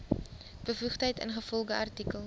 bevoegdheid ingevolge artikel